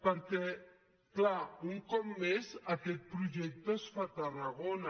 perquè és clar un cop més aquest projecte es fa a tarragona